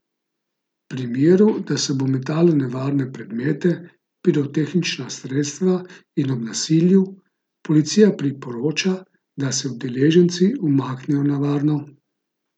V primeru, da se bo metalo nevarne predmete, pirotehnična sredstva in ob nasilju, policija priporoča, da se udeleženci umaknejo na varno.